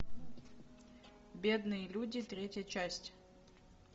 бедные люди третья часть